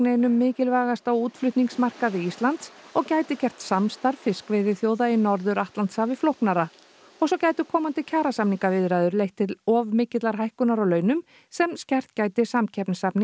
einum mikilvægasta útflutningsmarkaði Íslands og gæti gert samstarf fiskveiðiþjóða í Norður Atlantshafi flóknara og svo gætu komandi kjarasamningaviðræður leitt til of mikillar hækkunar á launum sem skert gæti samkeppnishæfni